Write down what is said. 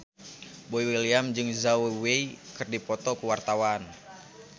Boy William jeung Zhao Wei keur dipoto ku wartawan